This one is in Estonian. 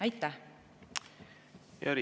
Aitäh!